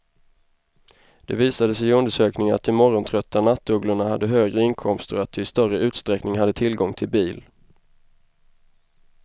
Det visade sig i undersökningen att de morgontrötta nattugglorna hade högre inkomster och att de i större utsträckning hade tillgång till bil.